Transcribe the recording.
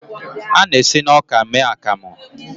A na-esi na ọka mee akamu.